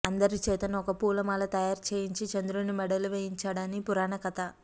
అందరిచేతను ఒక పూలమాల తయారు చేయంచి చంద్రుని మెడలో వేయించాడని అని పురాణ కథ